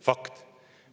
Fakt!